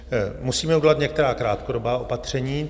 Musíme udělat některá krátkodobá opatření.